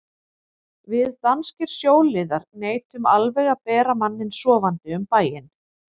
Við danskir sjóliðar neitum alveg að bera manninn sofandi um bæinn.